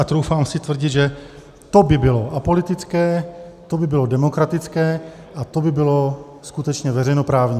A troufám si tvrdit, že to by bylo apolitické, to by bylo demokratické a to by bylo skutečně veřejnoprávní.